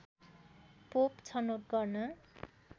pope छनौट गर्न